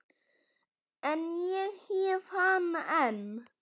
En ég hef hana enn.